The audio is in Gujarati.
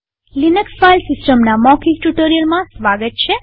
લિનક્સ ફાઈલ સિસ્ટમના મૌખિક ટ્યુ્ટોરીઅલમાં સ્વાગત છે